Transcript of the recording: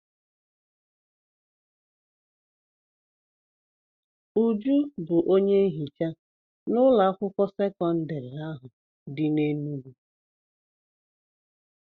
Uju bụ onye nhicha n'ụlọ akwụkwọ sekọndrị ahụ dị n'Enugwu.